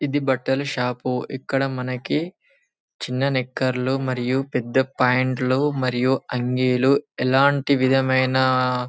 ఇది బట్టల షాప్ ఇక్కడ మనకి చిన్న నిక్కర్లు మరియు పెద్ద ప్యాంటు లు మరియు అంగీలు మరియు ఎలాంటి విధమైన.